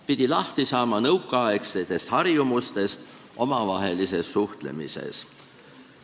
Pidi lahti saama nõukaaegsetest harjumustest omavahelises suhtlemises.